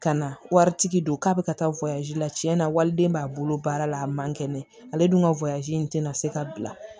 Ka na waritigi don k'a bɛ ka taa la tiɲɛna waliden b'a bolo baara la a man kɛnɛ ale dun ka in tɛna se ka bila